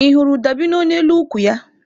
Ị hụrụ dabino n'elu ukwu ya?